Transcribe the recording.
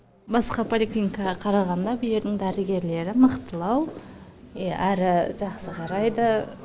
басқа поликлиникаға қарағанда дәрігерлері мықтылау иә әрі жақсы қарайды